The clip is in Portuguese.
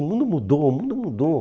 O mundo mudou, o mundo mudou.